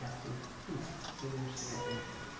Gastei tudo e não achei a doença dele.